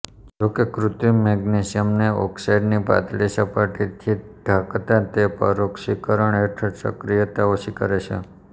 જોકે કૃત્રિમ મેગ્નેશિયમને ઓક્સાઈડની પાતળી સપાટીથી ઢાંકતા તે પરોક્ષીકરણ હેઠળ સક્રીયતા ઓછી કરે છે